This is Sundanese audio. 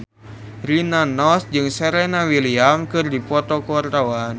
Rina Nose jeung Serena Williams keur dipoto ku wartawan